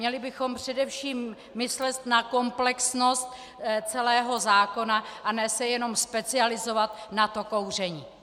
Měli bychom především myslet na komplexnost celého zákona a ne se jenom specializovat na to kouření.